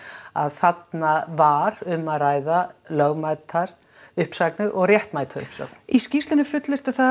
að þarna var um að ræða lögmætar uppsagnir og réttmæta uppsögn í skýrslunni er fullyrt að